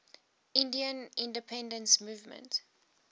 indian independence movement